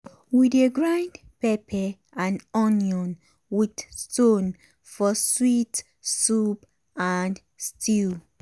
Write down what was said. we dey grind pepper and onion with stone for sweet soup and stew.